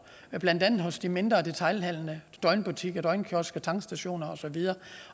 blandt andet hos de mindre detailhandlende døgnbutikker døgnkiosker tankstationer og så videre